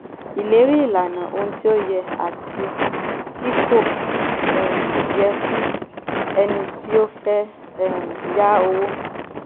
ìlérí - ìlànà ohun tí ó yẹ àti tí kò um yẹ fún ẹni tí ó fẹ́ um yá owó.